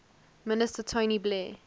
minister tony blair